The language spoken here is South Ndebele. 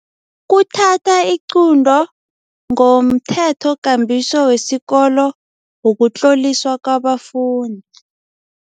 Kuthatha iqunto ngomthethokambiso wesikolo wokutloliswa kwabafundi.